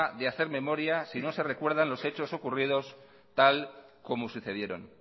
de hacer memoria si no se recuerdan los hecho ocurridos tal como sucedieron